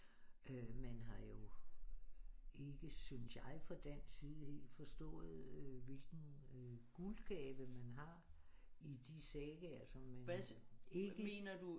Men har jo ikke synes jeg fra den side helt forstået øh hvilken øh guldgave man har i de sagaer som man ikke